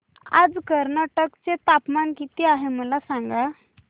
आज कर्नाटक चे तापमान किती आहे मला सांगा